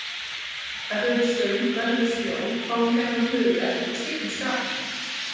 Ef við erum svöng verðum við sljó, fáum gjarnan höfuðverk og skiptum skapi.